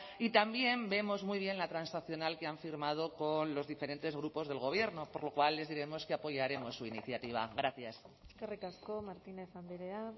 y también vemos muy bien la transaccional que han firmado con los diferentes grupos del gobierno por lo cual les diremos que apoyaremos su iniciativa gracias eskerrik asko martínez andrea